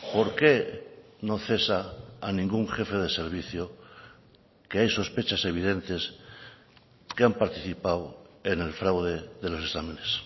por qué no cesa a ningún jefe de servicio que hay sospechas evidentes que han participado en el fraude de los exámenes